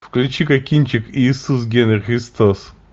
включи ка кинчик иисус генри христос